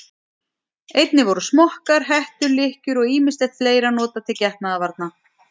Einnig voru smokkar, hettur, lykkjur og ýmislegt fleira notað til getnaðarvarna.